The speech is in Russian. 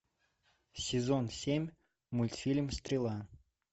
сезон семь мультфильм стрела